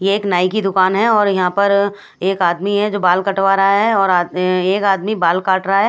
ये एक नाइ की दूकान है और यहाँ पर एक आदमी है जो बाल कटवा रहा है एक आदमी है जो बाल काट रहा है।